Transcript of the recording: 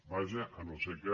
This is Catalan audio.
vaja si no és que